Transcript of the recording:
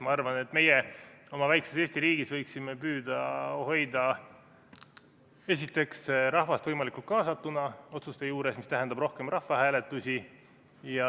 Ma arvan, et meie oma väikeses Eesti riigis võiksime püüda hoida esiteks rahvast võimalikult kaasatuna otsuste tegemise juurde, mis tähendab rohkem rahvahääletusi.